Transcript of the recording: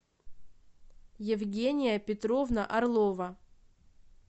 евгения петровна орлова